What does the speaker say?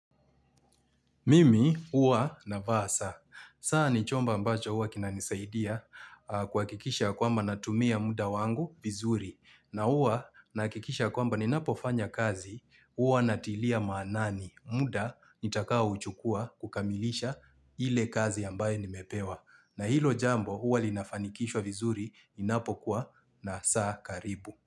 Mimi huwa navaa saa. Saa ni chomba ambacho huwa kinanisaidia kuhakikisha kwamba natumia muda wangu vizuri. Na huwa nahakikisha kwamba ninapofanya kazi huwa natilia maanani. Muda nitakao uchukua kukamilisha ile kazi ambayo nimepewa. Na hilo jambo huwa linafanikishwa vizuri ninapokuwa na saa karibu.